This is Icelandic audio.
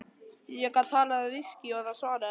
Ég gat talað við viskí og það svaraði.